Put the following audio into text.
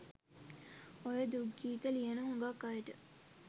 ඔය දුක් ගීත ලියන හුඟක් අයට